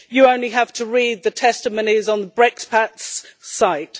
You only have to read the testimonies on the Brexpats' website.